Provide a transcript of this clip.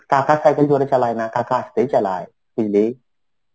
কাকা cycle জোরে চালায় না. কাকা আসতেই চালায়. বুঝলি.